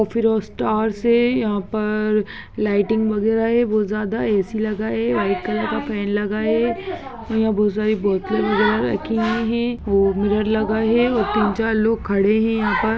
फिर वो स्टार्स है यहाँ पर लाइटिंग वगैरा है बहुत जायदा ए_सी लगा है व्हाइट कलर का फेन लगा है यहाँ बहुत सारी बोतल वगैरा रखी हुई है वो मिरर लगा है और तीन चार लोग खड़े है यहाँ पर--